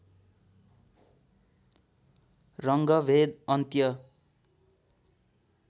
रङ्गभेद अन्त्य